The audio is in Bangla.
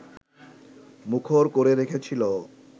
মুখর করে রেখেছিল